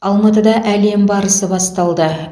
алматыда әлем барысы басталды